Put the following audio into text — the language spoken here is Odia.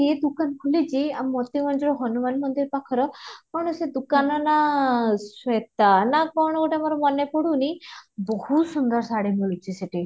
ଏ ଦୁକାନ ଖୋଲିଛି ଆମର ମୋତିଗଞ୍ଜର ହନୁମାନ ମନ୍ଦିର ପାଖର କଣ ସେ ଦୁକାନ ର ନାଁ ଶ୍ଵେତା ନା କଣ ଗୋଟେ ମୋର ମନେ ପଡୁନି ବହୁତ ସୁନ୍ଦର ଶାଢୀ ମିଳୁଛି ସେଠି